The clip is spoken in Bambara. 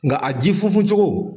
Nka a ji funfun cogo